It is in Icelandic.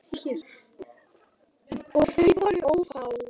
Og þau voru ófá.